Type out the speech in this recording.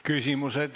Küsimused.